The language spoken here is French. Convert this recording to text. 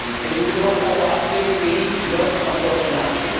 Nous devons savoir quels pays bloquent encore ce marché.